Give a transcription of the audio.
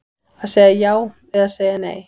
Að segja já eða segja nei